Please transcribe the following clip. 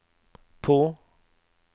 på